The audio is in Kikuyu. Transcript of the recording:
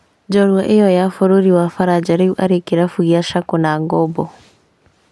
Njorua ĩyo ya bũrũri wa Faranja rĩu arĩ kĩrabu gĩa Schalke na ngombo